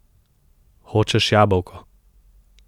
Hočeš jabolko?